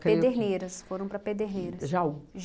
Pederneiras, foram para Pederneiras. Jaú.